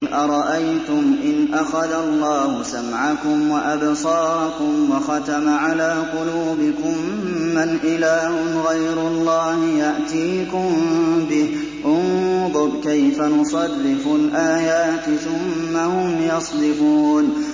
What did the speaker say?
قُلْ أَرَأَيْتُمْ إِنْ أَخَذَ اللَّهُ سَمْعَكُمْ وَأَبْصَارَكُمْ وَخَتَمَ عَلَىٰ قُلُوبِكُم مَّنْ إِلَٰهٌ غَيْرُ اللَّهِ يَأْتِيكُم بِهِ ۗ انظُرْ كَيْفَ نُصَرِّفُ الْآيَاتِ ثُمَّ هُمْ يَصْدِفُونَ